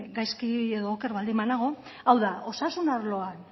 gaizki edo oker baldin banago hau da osasun arloan